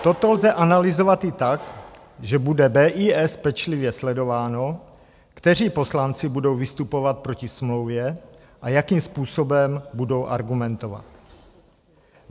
Toto lze analyzovat i tak, že bude BIS pečlivě sledováno, kteří poslanci budou vystupovat proti smlouvě a jakým způsobem budou argumentovat.